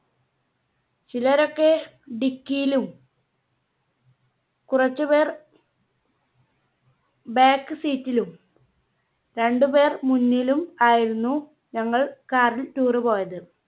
ചിലരൊക്കെ dicky യിലും കുറച്ചുപേർ Back Seat ലും രണ്ട് പേർ മുന്നിലും ആയിരുന്നു ഞങ്ങൾ Car ൽ Tour പോയത്.